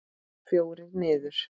Fjórir niður!